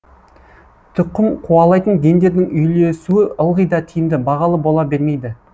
тұқым қуалайтын гендердің үйлесуі ылғи да тиімді бағалы бола бермейді